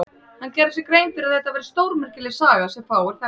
Hann gerði sér grein fyrir að þetta væri stórmerkileg saga sem fáir þekktur.